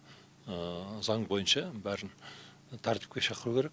заң бойынша бәрін тәртіпке шақыру керек